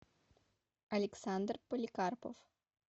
александр поликарпов